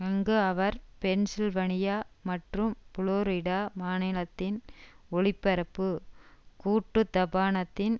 அங்கு அவர் பென்ஷில்வனியா மற்றும் புளோரிடா மாநிலத்தின் ஒளிபரப்பு கூட்டுத்தபனத்தின்